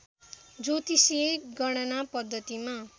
ज्योतिषीय गणना पद्धतिमा